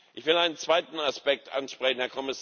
Ich will einen zweiten Aspekt ansprechen.